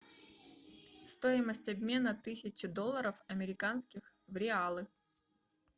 стоимость обмена тысячи долларов американских в реалы